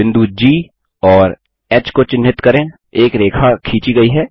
बिंदु जी और ह को चिन्हित करें एक रेखा खींची गई है